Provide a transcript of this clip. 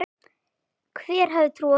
Hver hefði trúað því??